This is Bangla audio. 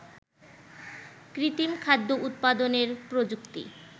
কৃত্রিম খাদ্য উৎপাদনের প্রযুক্তি